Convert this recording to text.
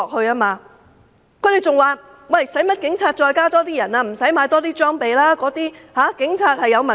他們還說，警隊無需再增加人手，無需再購買裝備，因為警察有問題。